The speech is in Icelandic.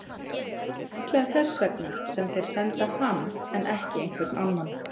Það er líklega þess vegna sem þeir senda hann en ekki einhvern annan.